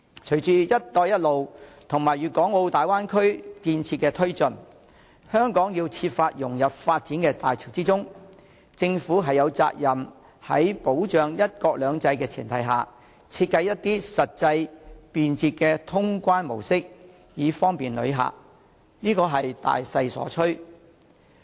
隨着"一帶一路"和粵港澳大灣區建設的推進，香港須設法融入發展的大潮中，因此政府有責任在保障"一國兩制"的前提下，設計出實際、便捷的通關模式以方便旅客，這是大勢所趨。